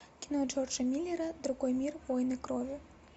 кино джорджа миллера другой мир войны крови